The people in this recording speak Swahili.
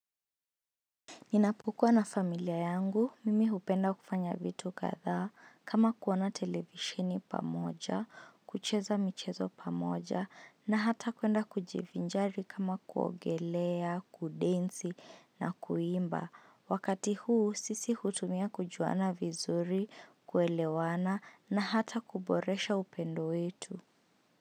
Ninapokua na familia yangu, mimi hupenda kufanya vitu kadhaa, kama kuona televisheni pamoja, kucheza michezo pamoja, na hata kwenda kujivinjari kama kuogelea, kudensi, na kuimba. Wakati huu, sisi hutumia kujuana vizuri, kuelewana, na hata kuboresha upendo wetu.